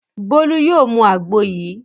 Bólú yóò mu àgbo yìí.